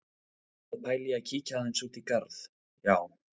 Ég er að pæla í að kíkja aðeins út í garð, já.